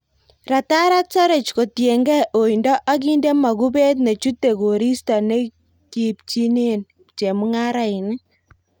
Ratarat saroch kotiengei oindo ak inde mokubet nechute koristo nekipchinen chemung'araik.